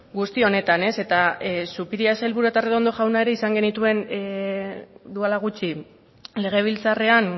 guzti honetan eta zupiria sailburua eta arredondo jauna ere izan genituen duela gutxi legebiltzarrean